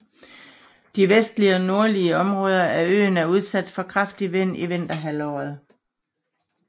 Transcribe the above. De vestlige og nordlige områder af øen er udsat for kraftig vind i vinterhalvåret